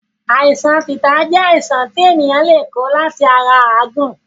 Àìsàn tìta jẹ́ àìsàn ti ènìyàn le ko láti ara Áàgun